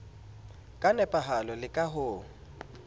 ka nepahalo le ka ho